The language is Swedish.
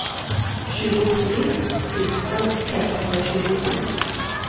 tjugotre tusen femhundrasju